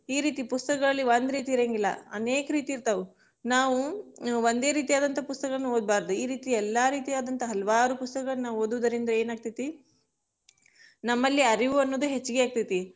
ಈ ರೀತಿ ಪುಸ್ತಕಗಳಲ್ಲಿ ಒಂದ್ ರೀತಿ ಇರಂಗಿಲ್ಲಾ, ಅನೇಕ ರೀತಿ ಇರ್ತಾವ್, ನಾವು ಒಂದೆ ರೀತಿ ಆದಂತ ಪುಸ್ತಕಗಳನ್ನ ಓದಬಾರದು, ಈ ರೀತಿ ಎಲ್ಲ ರೀತಿಯಾದಂತ ಹಲವಾರು ಪುಸ್ತಕಗಳನ್ನ ನಾವು ಓದುದರಿಂದ ಏನಾಗತೈತಿ ನಮ್ಮಲ್ಲಿ ಅರಿವು ಅನ್ನೋದು ಹೆಚ್ಗಿ ಆಗತೈತಿ.